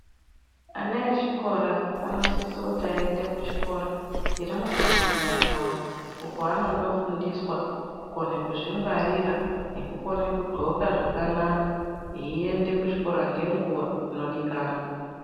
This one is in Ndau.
Ana echikora anosise kuti aende kuchikora chiri mundaraunda dzavo uko kwavano fundiswa kukone kuzvi ngwarira nekugone kugloka zvakanaka eienda kuchikora ngenguva inodikanwa.